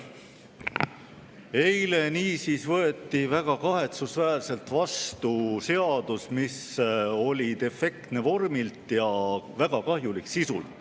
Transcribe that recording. Eile võeti väga kahetsusväärselt vastu seadus, mis oli defektne vormilt ja väga kahjulik sisult.